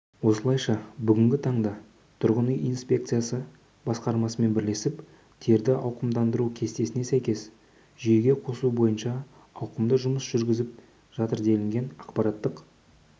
осылайша бүгінгі таңда тұрғын үй инспекциясы басқарасымен бірлесіп терді ауқымдандыру кестесіне сәйкес жүйеге қосу бойынша ауқымды жұмыс жүргізіп жатыр делінген ақпараттық